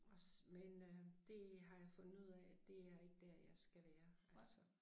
Også men øh det har jeg fundet ud af at det er ikke dér jeg skal være altså